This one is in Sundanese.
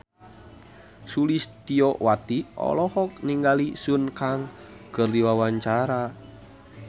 Sulistyowati olohok ningali Sun Kang keur diwawancara